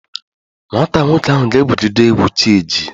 Nwata nwoke ahụ ga-egwugide egwu chi ejie